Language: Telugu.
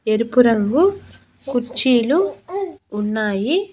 ఎరుపు రంగు కుర్చీలు ఉన్నాయి.